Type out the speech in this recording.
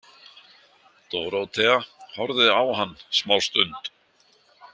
Dórótea horfði á hann smástund.